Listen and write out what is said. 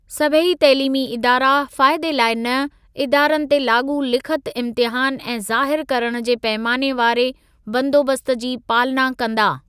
सभेई तइलीमी इदारा फ़ाइदे लाइ न, इदारनि ते लाॻू लिखित इम्तिहान ऐं ज़ाहिरु करण जे पैमाने वारे बंदोबस्त जी पालना कंदा।